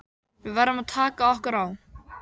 Við verðum að taka okkur á.